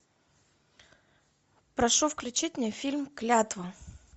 прошу включить мне фильм клятва